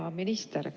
Hea minister!